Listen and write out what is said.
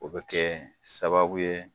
O be kɛ sababu ye